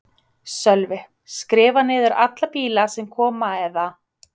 Sölvi: Skrifa niður alla bíla sem koma eða?